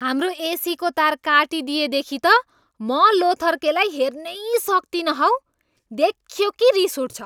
हाम्रो एसीको तार काटिदिएदेखि त म लोथर्केलाई हेर्नै सक्तिनँ हौ। देख्यो कि रिस उठ्छ।